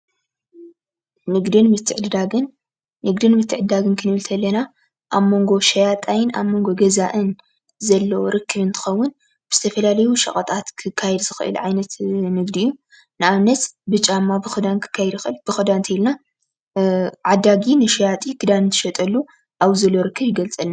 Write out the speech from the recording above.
ንግድን ምትዕድዳግን-ንግድን ምትዕድዳግን ክንብል እንተለና ኣብ መንጎ ሸያጣይን ኣብ መንጎ ገዛእን ዘሎ ርክብ እንትኸውን ብዝተፈላለዩ ሸቐጣት ክካየድ ዝኽእል ዓይነት ንግዲ እዩ፡፡ ንኣብነት ብጫማ ብኽዳን ክካየድ ይከኣል፡፡ ንብኽዳን እንተይልና ዓዳጊ ንሸያጢ ክዳን እንትሸጠሉ ኣብዚ ዘሎ ርክብ ይገልፀልና፡፡